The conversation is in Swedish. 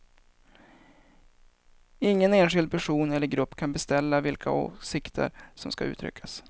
Ingen enskild person eller grupp kan beställa vilka åsikter som ska uttryckas.